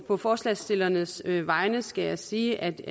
på forslagsstillernes vegne skal jeg sige at